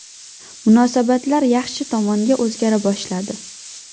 Munosabatlar yaxshi tomonga o‘zgara boshladi.